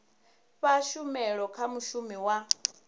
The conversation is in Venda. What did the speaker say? fha tshumelo kha mushumi wa